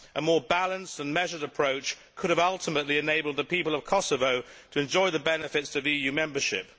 A more balanced and measured approach could have ultimately enabled the people of Kosovo to enjoy the benefits of EU membership.